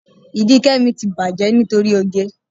Ìdí Kẹ́mi ti bàjẹ́ nítorí oge.